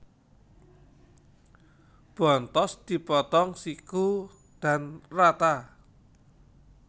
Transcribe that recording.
Bontos dipotong siku dan rata